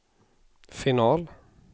final